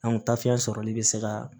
tafe sɔrɔli bi se ka